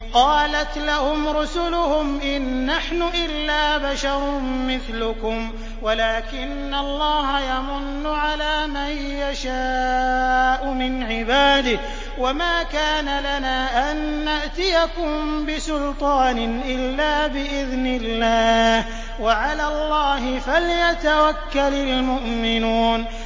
قَالَتْ لَهُمْ رُسُلُهُمْ إِن نَّحْنُ إِلَّا بَشَرٌ مِّثْلُكُمْ وَلَٰكِنَّ اللَّهَ يَمُنُّ عَلَىٰ مَن يَشَاءُ مِنْ عِبَادِهِ ۖ وَمَا كَانَ لَنَا أَن نَّأْتِيَكُم بِسُلْطَانٍ إِلَّا بِإِذْنِ اللَّهِ ۚ وَعَلَى اللَّهِ فَلْيَتَوَكَّلِ الْمُؤْمِنُونَ